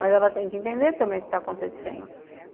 Mas ela tem que entender também o que está acontecendo.